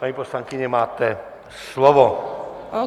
Paní poslankyně, máte slovo.